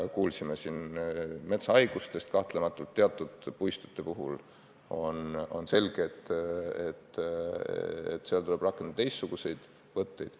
Me kuulsime siin metsahaigustest, kahtlemata teatud puistute puhul on selge, et seal tuleb rakendada teistsuguseid võtteid.